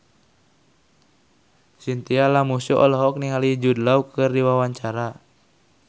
Chintya Lamusu olohok ningali Jude Law keur diwawancara